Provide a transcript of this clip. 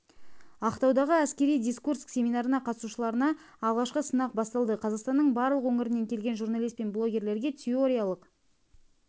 ақтаудағы әскери дискурс семинарына қатысушыларына алғашқы сынақ басталды қазақстанның барлық өңірінен келген журналист пен блогерге теориялық